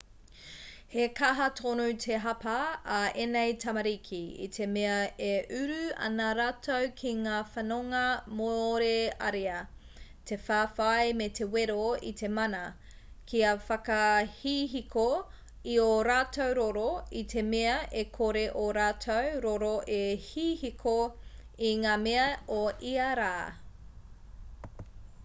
he kaha tonu te hapa a ēnei tamariki i te mea e uru ana rātou ki ngā whanonga mōrearea te whawhai me te wero i te mana kia whakahihiko i ō rātou roro i te mea e kore ō rātou roro e hihiko i ngā mea o ia rā